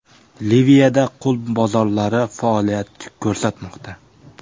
Liviyada qul bozorlari faoliyat ko‘rsatmoqda.